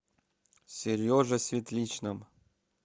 сереже светличном